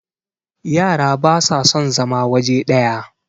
yara ba sa son zama waje daya